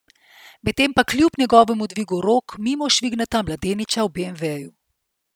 Medtem pa kljub njegovemu dvigu rok mimo švigneta mladeniča v beemveju.